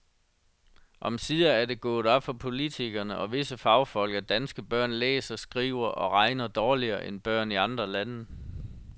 Omsider er det gået op for politikere og visse fagfolk, at danske børn læser, skriver og regner dårligere end børn i andre lande.